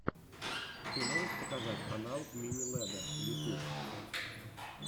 ты можешь показать канал мини лэдда ютьюб